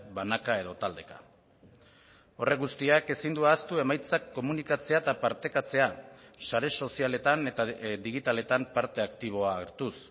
banaka edo taldeka horrek guztiak ezin du ahaztu emaitzak komunikatzea eta partekatzea sare sozialetan eta digitaletan parte aktiboa hartuz